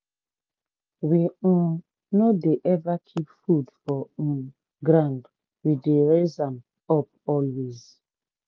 we um no dey ever keep food for um ground we dey raise am up always.